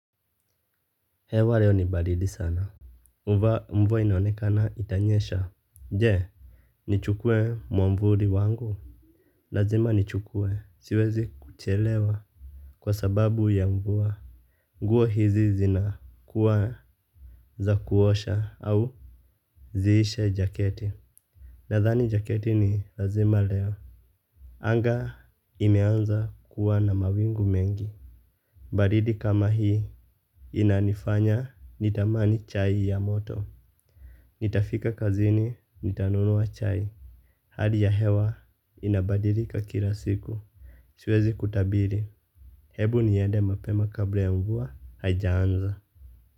Hewa leo ni baridi sana. Mvua inaonekana itanyesha. Je, nichukue mwavuli wangu? Lazima nichukue. Siwezi kuchelewa. Kwa sababu ya mvua. Nguo hizi zina kuwa za kuosha au. Ziishe jaketi. Nadhani jaketi ni lazima leo. Anga imeanza kuwa na mawingu mengi. Badidi kama hii. Inanifanya nitamani chai ya moto. Nitafika kazini, nitanunua chai. Hali ya hewa inabadilika kila siku. Siwezi kutabiri. Hebu niende mapema kabla ya mvua, haijaanza.